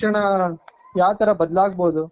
ಮುಂದಿನ ಶಿಕ್ಷಣ ಯಾ ತರ ಬದಲಾಗಬಹುದು.